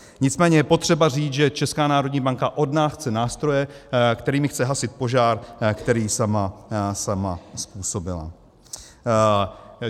Nicméně je potřeba říct, že Česká národní banka od nás chce nástroje, kterými chce hasit požár, který sama způsobila.